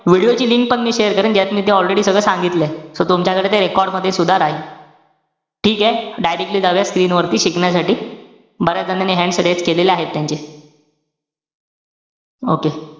Video ची link पण मी share करेल. ज्यात मी ते already सगळं सांगितलय. So तुमच्याकडे ते record मध्ये सुद्धा राहील. ठीके, directly जाऊया screen वरती शिकण्यासाठी. बऱ्याच जणांनी hands raise केलेला आहे त्यांचे. okay.